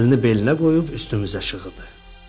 Əlini belinə qoyub üstümüzə şığıdı.